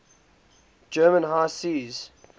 german high seas